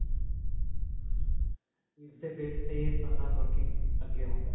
ਇਸ ਦੇ base ਤੇ ਸਾਰਾ working ਅੱਗੇ ਹੁੰਦਾ ਹੈ.